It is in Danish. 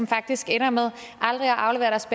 faktisk ender med aldrig at aflevere deres